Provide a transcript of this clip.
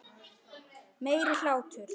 Meiri hlátur.